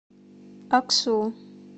аксу